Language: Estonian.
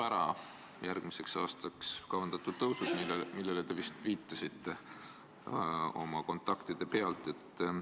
Läti võib järgmiseks aastaks kavandatud tõusud ära jätta, nagu te oma kontaktide põhjal viitasite.